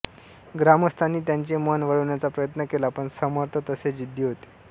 ग्रामस्थांनी त्यांचे मन वळविण्याचा प्रयत्न केला पण समर्थ तसे जिद्दी होते